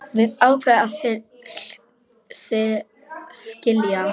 Við ákváðum að skilja.